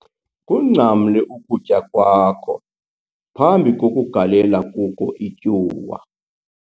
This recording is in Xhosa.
Kungcamle ukutya kwakho phambi kokugalela kuko ityuwa